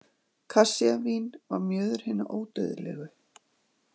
Kassíavín var mjöður hinna ódauðlegu.